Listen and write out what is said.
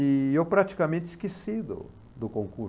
E eu praticamente esqueci do do